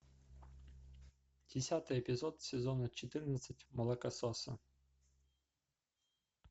десятый эпизод сезона четырнадцать молокососы